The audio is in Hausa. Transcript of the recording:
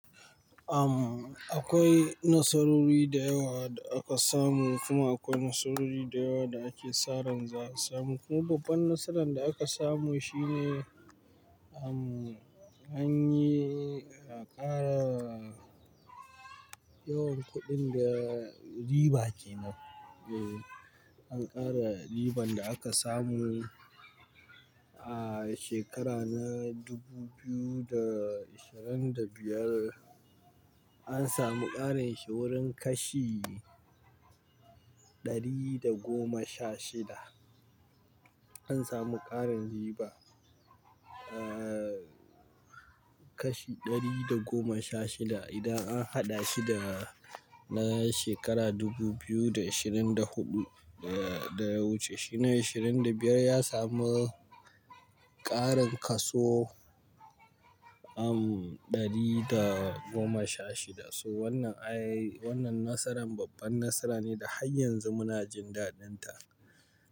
Am, akwai nasarori da yawa da aka samu kuma akwai nasarori da yawa da ake sa ran za a samu. Kuma babban nasaran da aka samu shine, am, an yi, a ƙara yawan kuɗin da riba ke nan. Am, akwai nasarori da yawa da aka samu kuma akwai nasarori da yawa da ake sa ran za a samu. Kuma babban nasaran da aka samu shine, am, an yi, a ƙara Eh, an ƙara riban da aka samu a shekara na dubu biyu da ashirin da biyar. An samu ƙarin shi wurin kashi ɗari da goma sha shida. Idan an haɗa shi da na shekara dubu biyu da ishirin da huɗu, da wuce, shi na ashirin da biyar ya samu ƙarin kaso, am, ɗari da goma sha shida. So wannan, ai, wannan nasaran babban nasara ne da har yanzu muna jin daɗin ta.